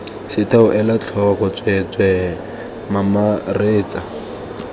setheo ela tlhoko tsweetswee mamaretsa